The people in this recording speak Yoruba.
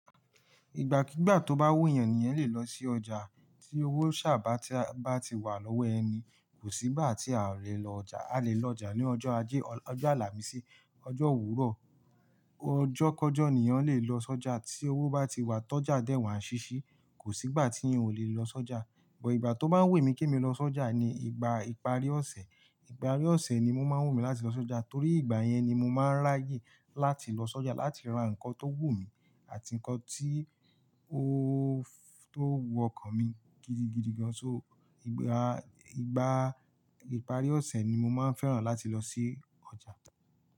Ìgbàkígbà tó bá wù'yan ni eyan lè lọ sí ọjà. Tí owó sá bà bá ti wà lọ́wọ́ ẹni, kò sí ìgbà tí a o lè lọ ọjà. A lè lọ ọjà ní ọjọ́ ajé, ọjọ́ Àlàmísì, ọjọ́ òwúrọ̀, ọjọ́ kọjọ́ ènìyàn lè lọ s'ọjà. Tí owó bá ti wà, tọ́ ọjà dé wàá ṣíṣí. Kò sí ìgbà tí eyan ò lè lọ s'ọjà. But ìgbà tó bá ń wù mí kí n lọ s'ọjà ni ìgbà ìparí ọ̀sẹ̀. Ìparí ọ̀sẹ̀ ni o máa ń wù mí láti lọ s'ọjà torí ìgbà yẹn ni mo máa ń ráyè láti lọ s'ọjà láti ra nnkan tó wù mí àti nnkan tí ó tó wu ọkàn mi gidigidi gan. So ìgbà, ìgbà ìparí ọ̀sẹ̀ ni mo máa ń fẹ́ràn láti lọ sí ọjà.